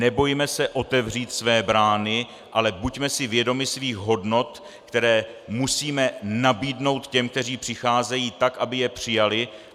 Nebojme se otevřít své brány, ale buďme si vědomi svých hodnot, které musíme nabídnout těm, kteří přicházejí, tak, aby je přijali.